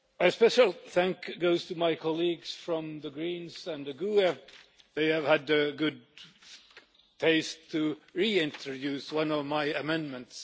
Special thanks goes to my colleagues from the Greens and the GUE they have had the good taste to reintroduce one of my amendments.